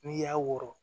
N'i y'a wɔrɔ